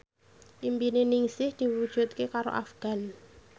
impine Ningsih diwujudke karo Afgan